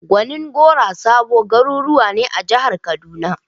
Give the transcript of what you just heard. Gonin gora da Sabo garuruwa ne a jihar kaduna.